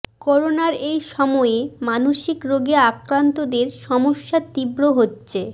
করোনার এই সময়ে মানসিক রোগে আক্রান্তদের সমস্যা তীব্র হচ্ছে